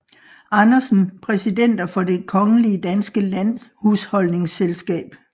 Andersen Præsidenter for Det Kongelige Danske Landhusholdningsselskab